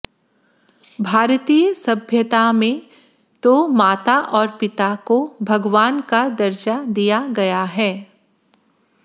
भारतीय सभ्यता में तो माता और पिता को भगवान का दर्जा दिया गया है